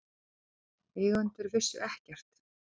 Eigendur vissu ekkert